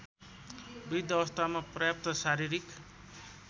वृद्धावस्थामा पर्याप्त शारीरिक